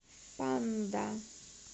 панда